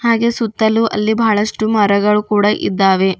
ಹಾಗೆ ಸುತ್ತಲೂ ಅಲ್ಲಿ ಬಹಳಷ್ಟು ಮರಗಳು ಕೂಡ ಇದ್ದಾವೆ.